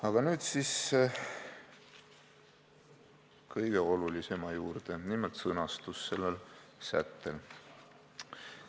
Aga nüüd siis kõige olulisema juurde: nimelt selle sätte sõnastus.